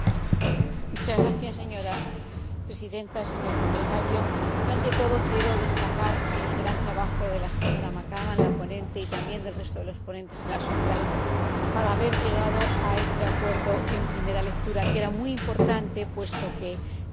Señora Presidenta, señor Comisario, ante todo quiero destacar el gran trabajo de la señora McAvan, la ponente, y también del resto de los ponentes en la sombra, para llegar a este acuerdo en primera lectura, lo que era muy importante, puesto que entraba en vigor